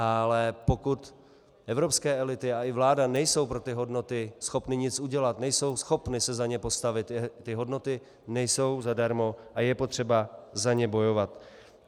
Ale pokud evropské elity a i vláda nejsou pro ty hodnoty schopny nic udělat, nejsou schopny se za ně postavit, ty hodnoty nejsou zadarmo a je potřeba za ně bojovat.